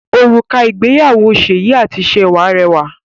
Òrùka ìgbéyàwó Seyi àti Sewa rẹwà